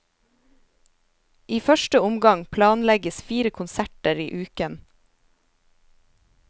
I første omgang planlegges fire konserter i uken.